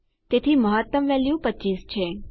તેથી મહત્તમ વેલ્યુ 25 છે